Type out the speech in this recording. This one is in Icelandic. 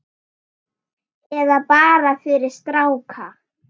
Eða bara fyrir stráka!